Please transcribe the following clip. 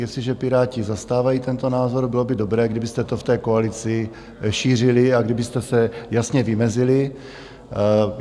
Jestliže Piráti zastávají tento názor, bylo by dobré, kdybyste to v té koalici šířili a kdybyste se jasně vymezili.